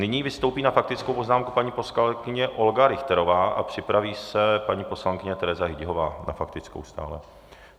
Nyní vystoupí na faktickou poznámku paní poslankyně Olga Richterová a připraví se paní poslankyně Tereza Hyťhová, na faktickou stále.